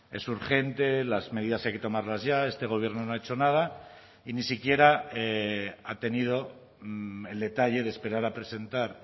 es urgente las medidas hay que tomarlas ya este gobierno no ha hecho nada y ni siquiera ha tenido el detalle de esperar a presentar